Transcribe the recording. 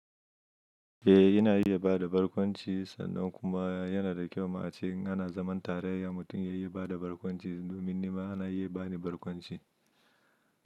Eh, ina iya bada barkwanci sannan kuma yana da kyau ma ce na zaman tare da mutum yayi bada barkwanci domin nima ana yi bani barkwanci.